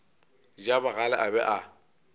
ja bogale a be a